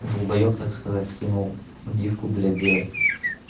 далбоеб так сказать скинул гифку блять где